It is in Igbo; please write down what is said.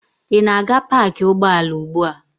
Ị na-aga paakị ụgbọala ugbu a?